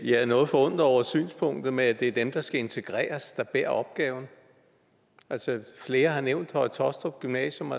jeg er noget forundret over synspunktet med at det er dem der skal integreres der bærer opgaven flere har nævnt høje taastrup gymnasium